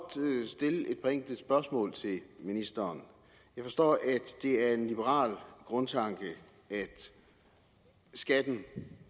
stille et par enkelte spørgsmål til ministeren jeg forstår at det er en liberal grundtanke at skatten